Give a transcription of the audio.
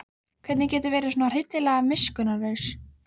Hvernig geturðu verið svona hryllilega miskunnarlaus?